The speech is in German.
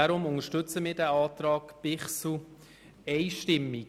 Deshalb unterstützen wir den Antrag Bichsel einstimmig.